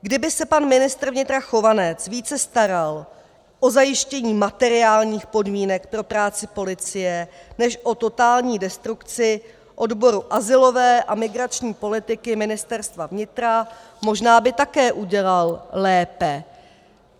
Kdyby se pan ministr vnitra Chovanec více staral o zajištění materiálních podmínek pro práci policie než o totální destrukci odboru azylové a migrační politiky Ministerstva vnitra, možná by také udělal lépe.